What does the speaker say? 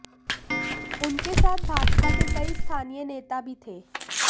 उनके साथ भाजपा के कई स्थानीय नेता भी थे